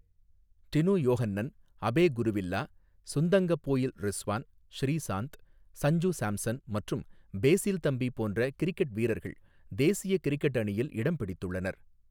டினு யோஹன்னன், அபே குருவில்லா, சுந்தங்கபோயில் ரிஸ்வான், ஸ்ரீசாந்த், ஸஞ்சு ஸாம்சன் மற்றும் பேஸில் தம்பி போன்ற கிரிக்கெட் வீரர்கள் தேசிய கிரிக்கெட் அணியில் இடம்பிடித்துள்ளனர்.